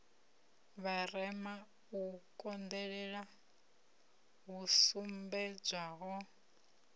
vharema u konḓelela hu sumbedzwaho